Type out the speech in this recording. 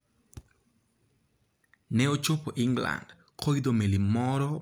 Ne ochopo England koidho meli moro mar Ingresa kaachiel gi wuon mare ma ne en jatim nonro e nam.